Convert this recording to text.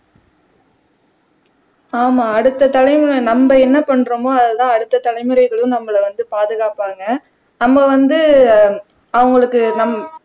ஆமா அடுத்த தலைமுறை நம்ம என்ன பண்றோமோ அதுதான் அடுத்த தலைமுறைகளும் நம்மளை வந்து பாதுகாப்பாங்க நம்ம வந்து ஆஹ் அவங்களுக்கு நம்